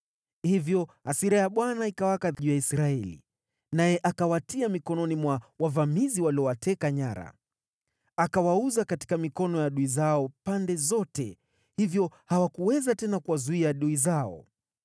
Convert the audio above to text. Hivyo hasira ya Bwana ikawaka juu ya Israeli, naye akawatia mikononi mwa wavamizi waliowateka nyara. Akawauza katika mikono ya adui zao pande zote, hivyo hawakuweza tena kuwazuia adui zao.